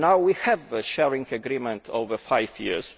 problem. Now we have a sharing agreement for five